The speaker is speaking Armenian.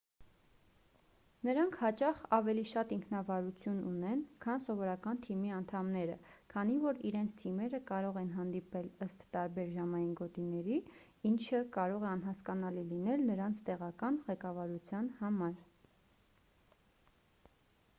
նրանք հաճախ ավելի շատ ինքնավարություն ունեն քան սովորական թիմի անդամները քանի որ իրենց թիմերը կարող են հանդիպել ըստ տարբեր ժամային գոտիների ինչը կարող է անհասկանալի լինել նրանց տեղական ղեկավարության համար